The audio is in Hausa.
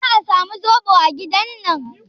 Za a samu zoɓo a gidan nan?